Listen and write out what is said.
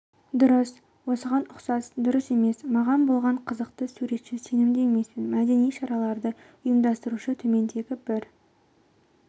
дұрыс осыған ұқсас дұрыс емес маған болған қызықты суретші сенімді емеспін мәдени шараларды ұйымдастырушы төмендегі бір